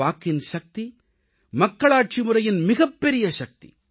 வாக்கின் சக்தி மக்களாட்சிமுறையின் மிகப்பெரிய சக்தி